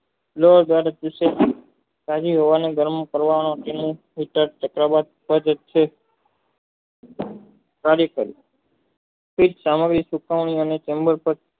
હોવાને ગરમી કરવાના તેને પ્રલાબ કરે છે ત્યારે એક